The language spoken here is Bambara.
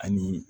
Ani